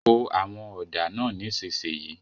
Po àwọn ọ̀dà náà nísìsiyìí!